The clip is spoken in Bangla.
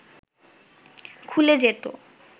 খুলে যেত